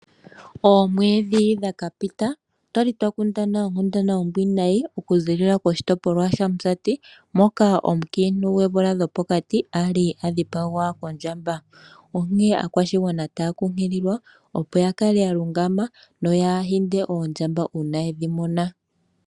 Oomwedhi dhakapita otwali twakundana onkundana ombwiinayi kuziilila koshitopolwa shaMusati moka omunkiintu gwoomvula dhopokati ali adhipagwa kondjamba. Onkene aakwashigwana otaya kunkililwa, opo yakale yalungama noyaahinde oondjamba uuna yedhi mona.